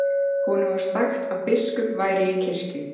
Honum var sagt að biskup væri í kirkju.